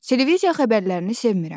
Televiziya xəbərlərini sevmirəm.